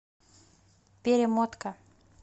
перемотка